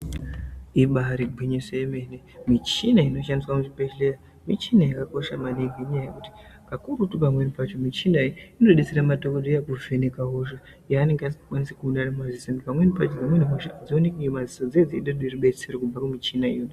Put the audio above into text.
Ibari gwinyiso yemene michina inoshandiswa muzvibhedhlera michina yakakosha maningi ngenya yekuti kakurutu pamweni pacho michina iyi inodetsera madhokodheya kuvheneka hosha yaanenge asingakwanisi kuona ngemadziso pamweni pacho vanomba batsira kubve kune rubetsero kumichina iyi.